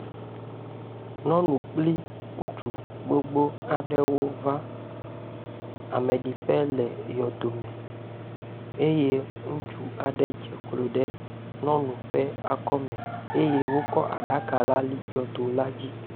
Nyɔnu kpli ŋutsu gbogbo aɖewo va ameɖiƒe le yɔdome eye ŋutsu aɖe dze klo ɖe nyɔnu ƒe akɔme eye wokɔ aɖaka la li yɔdo la dzi.